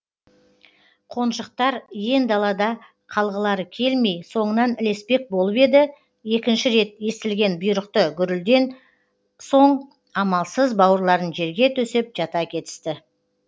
қонжықтар иен далада қалғылары келмей соңынан ілеспек болып еді екінші рет естілген бұйрықты гүрілден соң амалсыз бауырларын жерге төсеп жата кетісті